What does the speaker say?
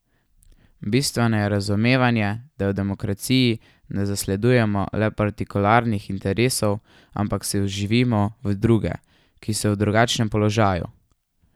Bistveno je razumevanje, da v demokraciji ne zasledujemo le partikularnih interesov, ampak se vživimo v druge, ki so v drugačnem položaju.